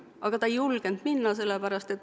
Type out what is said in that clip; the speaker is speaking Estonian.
Aga nad ei julgenud minna.